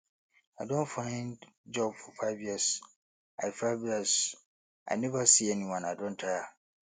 i don find job for five years i five years i neva see anyone i don tire